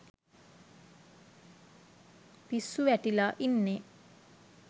පිස්සු වැටිලා ඉන්නේ.